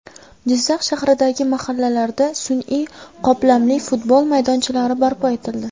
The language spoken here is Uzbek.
Jizzax shahridagi mahallalarda sun’iy qoplamali futbol maydonchalari barpo etildi.